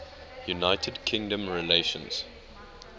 united kingdom relations